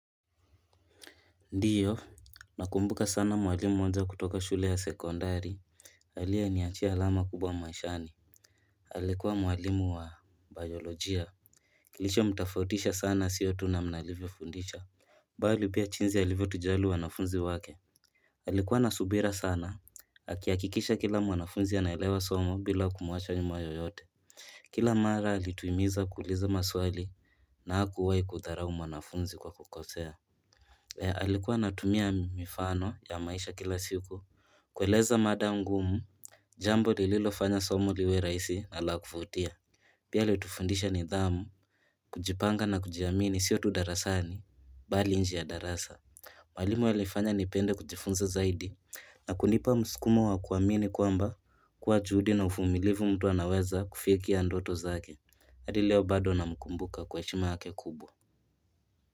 Ndio na kumbuka sana mwalimu mmoja kutoka shule ya sekondari aliye niachia alama kubwa maishani alikuwa mwalimu wa biolojia Kilicho mtafautisha sana sio tu namna alivyo fundisha mbali pia jinzi alivyo tujali wanafunzi wake alikuwa na subira sana akihakikisha kila mwanafunzi anaelewa somo bila kumuacha nyuma yoyote Kila mara alituhimiza kuuliza maswali na hakuwahi kudharau mwanafunzi kwa kukosea Eeh, alikuwa anatumia mifano ya maisha kila siku kueleza mada ngumu jambo lililofanya somo liwe rahisi na lakuvutia Pia alitufundisha nidhamu, kujipanga na kujiamini sio tu darasani bali njee ya darasa Mwalimu alifanya nipende kujifunza zaidi na kunipa mskumo wa kuamini kwamba Kwa juhudi na uvumilivu mtu anaweza kufikia ndoto zake hadi leo bado namkumbuka kwa shima yake kubwa.